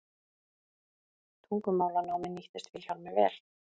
tungumálanámið nýttist vilhjálmi vel